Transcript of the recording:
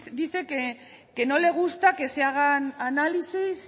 dice que no le gusta que se hagan análisis